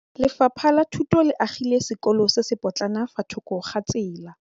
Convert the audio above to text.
Lefapha la Thuto le agile sekôlô se se pôtlana fa thoko ga tsela.